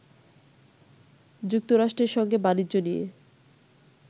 যুক্তরাষ্ট্রের সঙ্গে বাণিজ্য নিয়ে